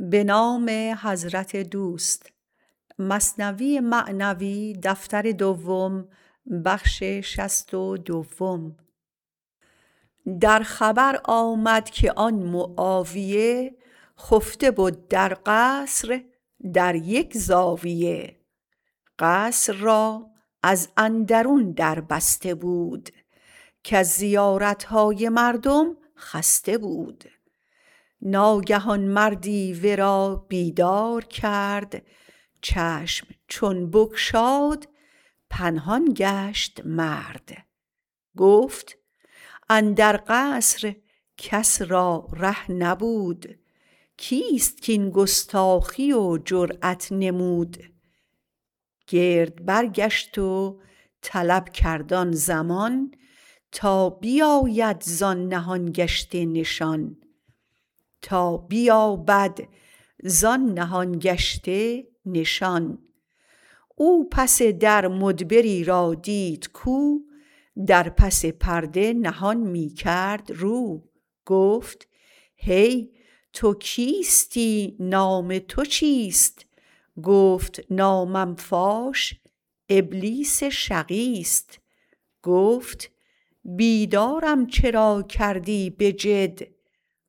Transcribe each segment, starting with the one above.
در خبر آمد که آن معاویه خفته بد در قصر در یک زاویه قصر را از اندرون در بسته بود کز زیارتهای مردم خسته بود ناگهان مردی ورا بیدار کرد چشم چون بگشاد پنهان گشت مرد گفت اندر قصر کس را ره نبود کیست کین گستاخی و جرات نمود گرد برگشت و طلب کرد آن زمان تا بیاید زان نهان گشته نشان او پس در مدبری را دید کو در پس پرده نهان می کرد رو گفت هی تو کیستی نام تو چیست گفت نامم فاش ابلیس شقیست گفت بیدارم چرا کردی بجد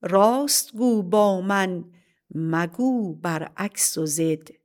راست گو با من مگو بر عکس و ضد